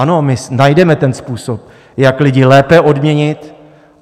Ano, my najdeme ten způsob, jak lidi lépe odměnit.